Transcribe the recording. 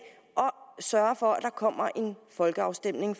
og sørger for at der kommer en folkeafstemning